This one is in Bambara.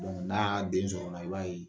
n'a den sɔrɔla i b'a ye